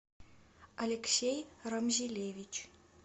алексей рамзилевич